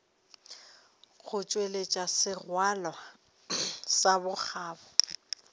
go tšweletša sengwalo sa bokgabo